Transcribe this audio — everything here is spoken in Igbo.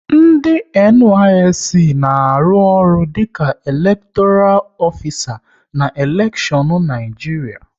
Ndị NYSC na-arụ ọrụ dịka elektoral ofisa na elekshion Naịjiria